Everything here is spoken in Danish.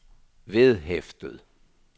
vedhæftet